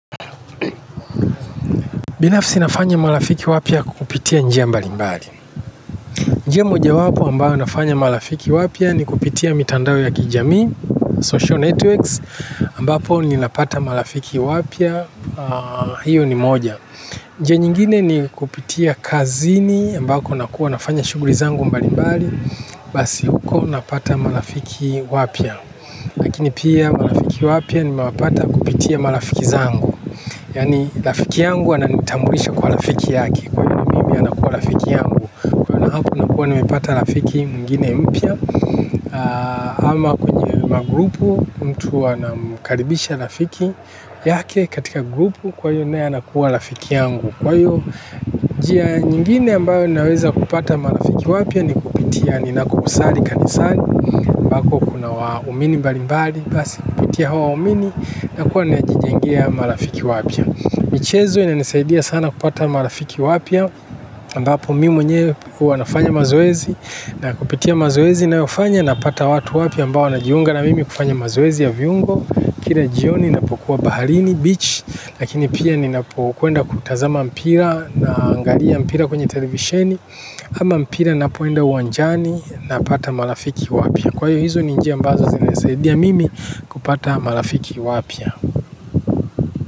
Binafsi nafanya marafiki wapya kwa kupitia njia mbalimbali. Njia moja wapo ambayo nafanya malafiki wapya ni kupitia mitandao ya kijami, social networks ambapo ni napata malafiki wapya, hiyo ni moja. Njia nyingine ni kupitia kazini ambako nakuwa nafanya shuguri zangu mbali mbali. Basi huko napata malafiki wapya lakini pia malafiki wapya nimewapata kupitia malafiki zangu yaani lafiki yangu ananitambulisha kwa lafiki yake kwa hivyo mimi anakuwa lafiki yangu na hapo nakuwa nimepata lafiki mwingine mpya. Ama kwenye magrupu mtu anamkaribisha lafiki yake katika grupu kwa iyo naye anakuwa lafiki yangu. Kwa iyo njia nyingine ambayo ninaweza kupata marafiki wapya ni kupitia ni nakokusali kanisani ambako kuna waumini mbali mbali basi kupitia hao waumini na kuwa najijengia marafiki wapya. Michezo ina nisaidia sana kupata marafiki wapya ambapo mimi mwenyewe hua nafanya mazoezi. Na kupitia mazoezi nayofanya na pata watu wapya ambao wanajiunga na mimi kufanya mazoezi ya viungo. Kira jioni na pokuwa Baharini Beach Lakini pia nina kwenda kutazama mpira. Na angalia mpira kwenye televisheni. Ama mpira na poenda uwanjani na pata marafiki wapya. Kwa hiyo hizo ninjia qmbazo zina nisaidia mimi kupata marafiki wapya.